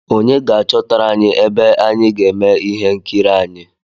Onye ga-achọtara anyi ebe anyị ga-eme ihe nkiri anyị?